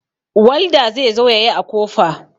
Walda zai zo ya yi kofa.